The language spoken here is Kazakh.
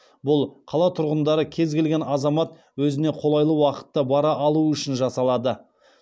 бұл қала тұрғындары кез келген азамат өзіне қолайлы уақытта бара алуы үшін жасалады